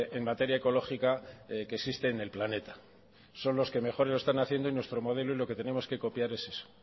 en materia ecológica que existe en el planeta son los que mejor lo están haciendo y nuestro modelo y lo que tenemos que copiar es eso